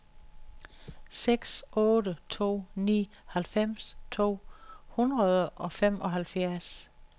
seks otte to ni halvfems to hundrede og femoghalvfjerds